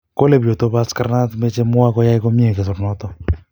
kole bichoto bo askarnat mechei mwa koyai komie kersonoto